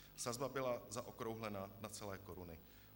Sazba byla zaokrouhlena na celé koruny.